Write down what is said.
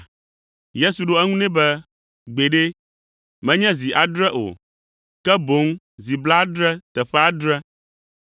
Yesu ɖo eŋu nɛ be, “Gbeɖe, menye zi adre o, ke boŋ zi blaadre teƒe adre.”